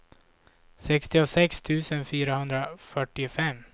sextiosex tusen fyrahundrafyrtiofem